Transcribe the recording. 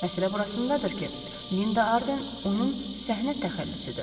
Məsələ burasındadır ki, Linda Arden onun səhnə təxəllüsüdür.